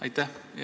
Aitäh!